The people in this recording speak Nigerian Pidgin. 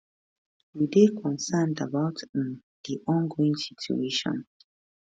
we dey concerned about um di ongoing situation